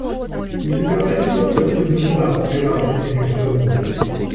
у тебя найдется синдбад пираты семи штормов